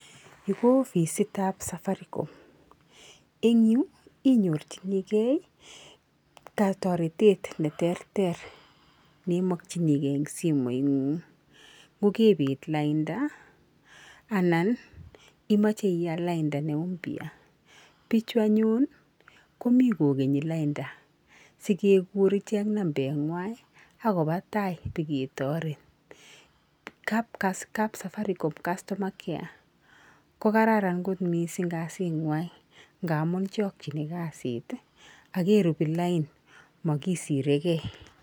Yu ko ofisitap Safaricom. Eng yu, inyorchinike toretet neterter neimokchinike eng simeng'ung nkokebet lainda, anan imoche ial lainda ne mpya. Pichu anyun komi kokenyi lainda sikekur ichek nambenywa akopa tai biketaret. Kap Safaricom customer care ko kararan kot mising kot kasinwa nka amun chokchin kasit akeropi lain, makisreke.